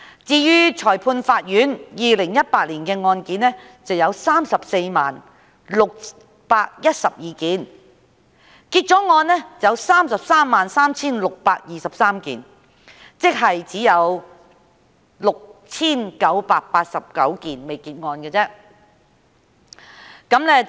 至於裁判法院 ，2018 年的案件有 340,612 宗，結案的有 333,623 宗，即有 6,989 宗尚未結案。